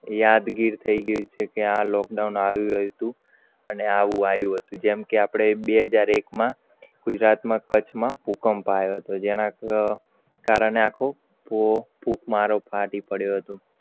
યાદગીર થઈ ગયું છે. આવુ lockdown આવું હતું આયુ હતું. જે કે આપડે બે હજાર એક માં ગુજરાત માં કરછ માં ભૂકંપ આયો હતો. જેના કારણે ફુંકમારો ફાટી પડ્યું હતું.